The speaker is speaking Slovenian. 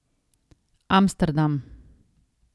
Amsterdam.